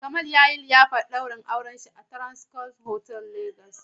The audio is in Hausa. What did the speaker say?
Kamal yayi liyafar ɗaurin auren shi a Transcorp otal Lagos.